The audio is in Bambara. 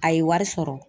A ye wari sɔrɔ